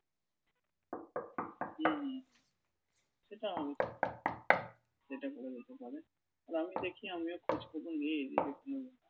হুম হুম সেটাও হতে পারে সেটা করা যেতে পারে। আর আমি দেখি আমিও খোঁজখবর নেই যদি কোন